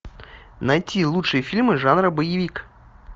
найти лучшие фильмы жанра боевик